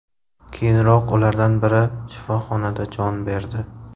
Keyinroq ulardan biri shifoxonada jon berdi.